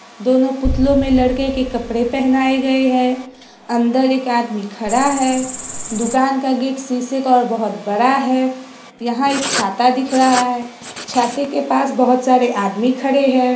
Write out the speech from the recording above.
दोनों पुतलों मे लड़कों के कपड़े पहनाए गए है अंदर एक आदमी खड़ा है दुकान का गेट और शीशे का बहुत बड़ा है यहाँ एक छाता दिख रहा है छाते के पास बहुत सारे आदमी खड़े है।